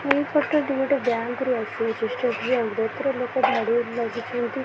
ଏହି ଫୋଟୋ ଟି ଗୋଟେ ବ୍ୟାଙ୍କ୍ ରୁ ଆସିଅଛି ଷ୍ଟେଟ ବ୍ୟାଙ୍କ ରୁ ଏଥିରେ ଲୋକ ଧାଡ଼ି ହୋଇ ଲାଗିଛନ୍ତି।